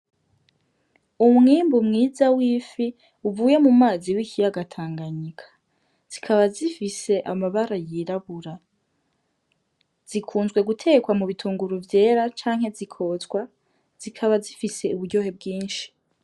Umwimbu mwiza w'ifi uvuye mu mazi w' ikiyaga Tanganyika, zikaba zifise amabara yirabura zikunzwe gutekwa mu bitunguru vyera canke zikotswa zikaba zifise uburyohe bwinshi.